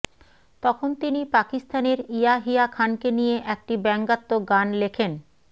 তখন তিনি পাকিস্তানের ইয়াহিয়া খানকে নিয়ে একটি ব্যঙ্গাত্মক গান লেখেন